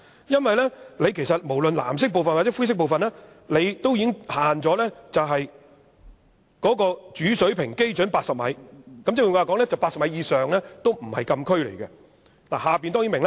因為無論是藍色或灰色部分，也已限制高度在主水平基準80米，換言之 ，80 米以上已不是禁區。